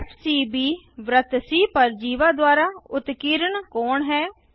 FCB वृत्त C पर जीवा द्वारा उत्कीर्ण कोण है